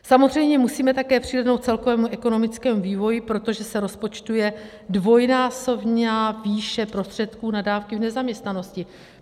Samozřejmě musíme také přihlédnout k celkovému ekonomickému vývoji, protože se rozpočtuje dvojnásobná výše prostředků na dávky v nezaměstnanosti.